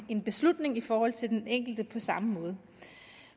en beslutning i forhold til den enkelte på samme måde